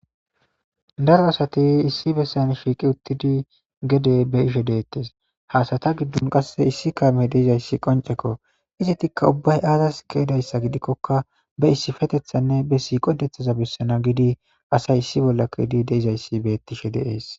daro asati issi bessan shiiqi uttidi gede be ishe deettes haasata giddon qasse issi kaame deizayssi qoncekko izi tikka ubbay aazas keedayssa gidikkokka be issifetethanne be si qodethaza bessana gidi asay issi bollakkoidi deizayssi bettishe deees